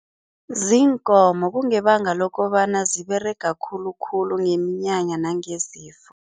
Ziinkomo. Kungebanga lokobana ziberega khulukhulu ngeminyanya nangezifo.